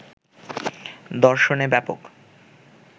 দর্শনে ব্যাপক